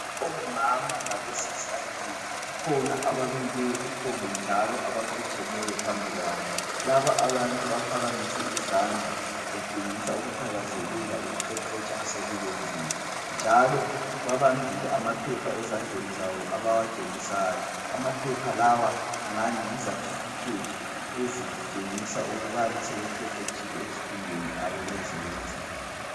Omama labosisi abanengi, kukhona abamileyo, kukhona njalo abaqotshemeyo phambikwabo. Laba abantu baphakamise izandla, betshengisa ukuthakazelela ukuqeqetsha asebekwenzile. Njalo babambile amaphepha ezandleni zabo abawatshengisayo. Amaphepha lawa angani yizathifikhethi ezitshengisa ukubana sebeqeqetshile ezifundweni abebezenza.